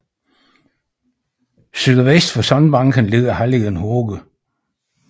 Sydvest for sandbanken ligger halligen Hoge